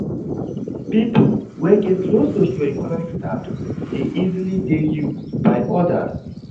Pipo wey get low socio-economic status de easily de used by others